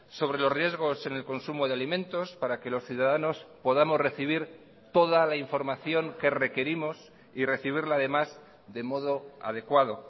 sobre los riesgos en el consumo de alimentos para que los ciudadanos podamos recibir toda la información que requerimos y recibirla además de modo adecuado